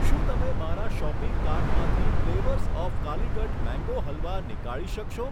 શું તમે મારા શોપિંગ કાર્ટમાંથી flavours of Calicut mango halwa નીકાળી શકશો?